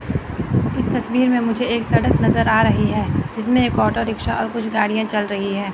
इस तस्वीर में मुझे एक सड़क नजर आ रही है जिसमें एक ऑटो रिक्शा और कुछ गाड़ियां चल रही है।